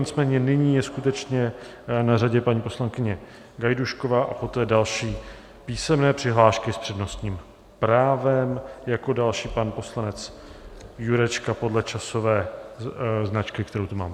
Nicméně nyní je skutečně na řadě paní poslankyně Gajdůšková a poté další písemné přihlášky s přednostním právem, jako další pan poslanec Jurečka podle časové značky, kterou tu mám.